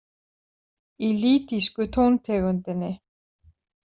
Í lýdísku tóntegundinni.